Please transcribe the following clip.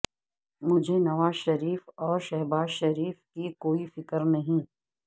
مجھے نواز شریف اور شہباز شریف کی کوئی فکر نہیں